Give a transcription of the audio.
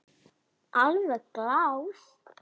Alveg glás.